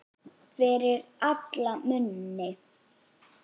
Fyrir alla muni.